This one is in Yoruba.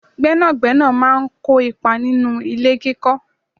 Gbẹ́nàgbẹ́nà máa ń kópa nínú ilé kíkọ